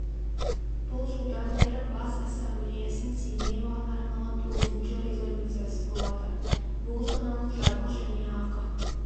бұл жылдан бері бас ассамблеясының семей аймағына арналған тоғызыншы резолюциясы болады бұл жаңалық жабық және ақы